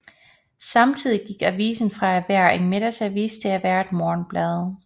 Samtidig gik avisen fra at være en middagsavis til at være et morgenblad